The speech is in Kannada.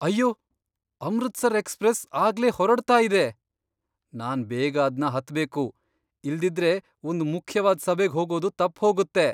ಅಯ್ಯೋ! ಅಮೃತ್ಸರ್ ಎಕ್ಸ್ಪ್ರೆಸ್ ಆಗ್ಲೇ ಹೊರಡ್ತಾ ಇದೆ. ನಾನ್ ಬೇಗ ಅದ್ನ ಹತ್ಬೇಕು, ಇಲ್ದಿದ್ರೆ ಒಂದ್ ಮುಖ್ಯವಾದ್ ಸಭೆಗ್ ಹೋಗೋದು ತಪ್ಪ್ಹೋಗತ್ತೆ.